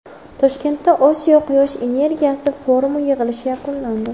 Toshkentda Osiyo quyosh energiyasi forumi yig‘ilishi yakunlandi.